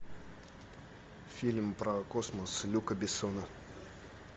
фильм про космос люка бессона